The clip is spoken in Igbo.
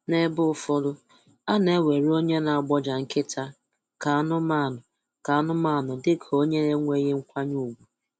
N'ebe ụfọdụ, a na-ewere onye na-agbọja nkịta ka anụmanụ ka anụmanụ dịka onye enweghị nkwanye ùgwu